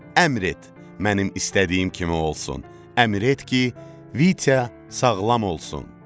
əmr et, mənim istədiyim kimi olsun, əmr et ki, Vitya sağlam olsun.